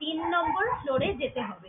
তিন number floor এ যেতে হবে।